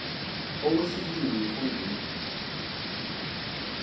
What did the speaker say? okwesibini mfo ndini